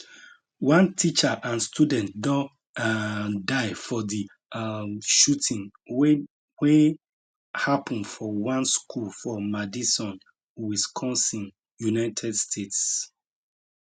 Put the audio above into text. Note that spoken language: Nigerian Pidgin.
one teacher and student don um die for di um shooting wey wey happun for one school for madison wisconsin united states